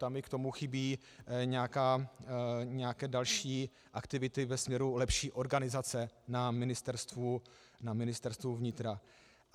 Tam mi k tomu chybí nějaké další aktivity ve směru lepší organizace na Ministerstvu vnitra.